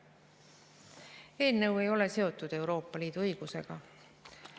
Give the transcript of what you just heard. Eelnõu ei ole seotud Euroopa Liidu õigusega.